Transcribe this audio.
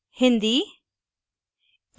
hindi hindi